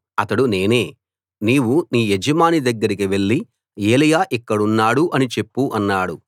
అతడు నేనే నీవు నీ యజమాని దగ్గరికి వెళ్లి ఏలీయా ఇక్కడున్నాడు అని చెప్పు అన్నాడు